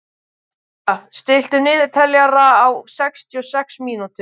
Sonja, stilltu niðurteljara á sextíu og sex mínútur.